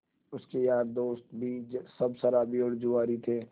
उसके यार दोस्त भी सब शराबी और जुआरी थे